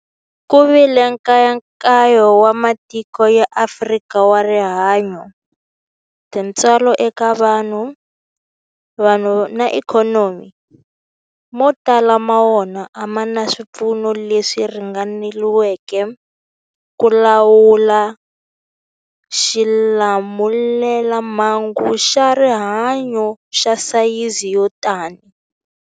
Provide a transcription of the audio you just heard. Ku vile nkayakayo wa matiko ya Afrika wa rihanyu, tintswalo eka vanhu, vanhu na ikhonomi, mo tala ma wona a ma na swipfuno leswi ringaneleke ku lawula xilamulelamhangu xa rihanyu xa sayizi yo tani.